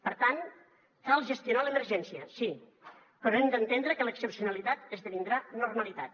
per tant cal gestionar l’emergència sí però hem d’entendre que l’excepcionalitat esdevindrà normalitat